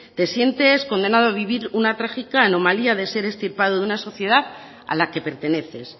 te sientes condenado a vivir una trágica anomalía de ser extirpado de una sociedad a la que perteneces